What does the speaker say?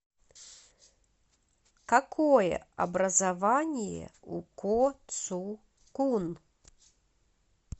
какое образование у ко цу кун